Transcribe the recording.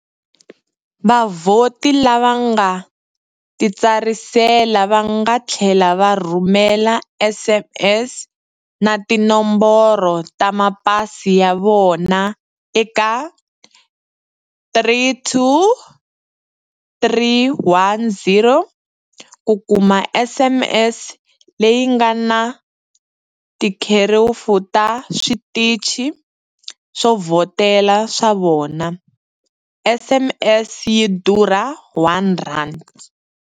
Vavhoti lava nga titsarisela va nga tlhela va rhumela SMS na tinomboro ta mapasi ya vona eka 32310 ku kuma SMS leyi nga na tikherefu ta switichi swo vhotela swa vona, SMS yi durha R1.